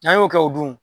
N'an y'o kɛ o dun